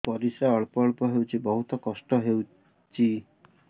ପରିଶ୍ରା ଅଳ୍ପ ଅଳ୍ପ ହଉଚି ବହୁତ କଷ୍ଟ ହଉଚି